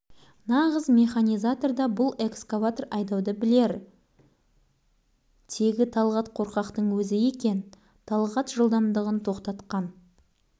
сыныпқа екі өкпесін қолына алып ентігіп қуаныш оны өкшелей қуып шоқан кіріп келді